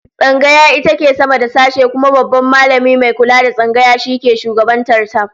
Tsangaya ita ke sama da sashe, kuma Babban Mallami mai kula da Tsangaya shi ke shugabantar ta